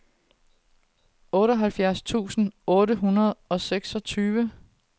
otteoghalvfjerds tusind otte hundrede og seksogtyve